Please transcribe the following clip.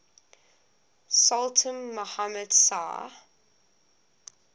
sultan muhammad shah